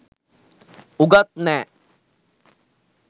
උගත් නෑ